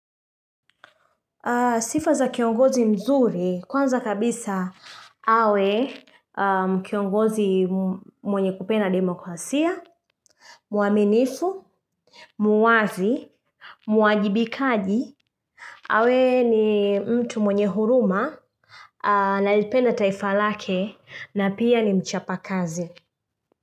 Sifa za kiongozi mzuri kwanza kabisa awe kiongozi mwenye kupenda demokwasia, muaminifu, muwazi, muwajibikaji, awe ni mtu mwenye huruma na ilipende taifa lake na pia ni mchapakazi.